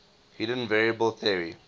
hidden variable theory